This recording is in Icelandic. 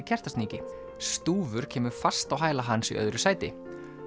Kertasníki stúfur kemur fast á hæla hans í öðru sæti